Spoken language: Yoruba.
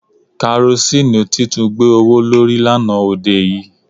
Karosíìnù ti tún gbé owó lórí lánàá òde yìí